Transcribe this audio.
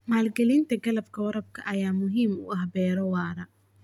Maalgelinta qalabka waraabka ayaa muhiim u ah beero waara.